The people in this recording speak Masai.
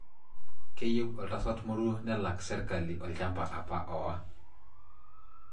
Keyieu Oltasat Moruo nelak serkali olchamba apa owa.